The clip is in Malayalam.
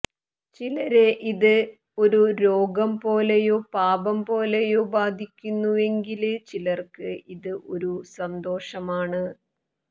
ചിലരെ ഇത് ഒരു രോഗംപോലെയോ പാപംപോലെയോ ബാധിക്കുന്നുവെങ്കില് ചിലര്ക്ക് ഇത് ഒരു സന്തോഷമാണ്